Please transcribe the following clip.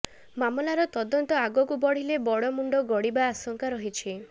ମାମଲାର ତଦନ୍ତ ଆଗକୁ ବଢ଼ିଲେ ବଡ଼ ମୁଣ୍ଡ ଗଡ଼ିବା ଆଶଂକା ରହିଛି